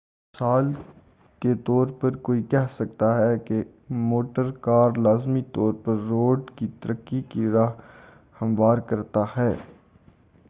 مثال کے طور پر کوئی کہہ سکتا ہے کہ موٹر کار لازمی طور پر روڈ کی ترقی کی راہ ہموار کرتا ہے